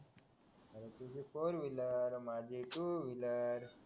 तुझी four wheeler माझी two wheeler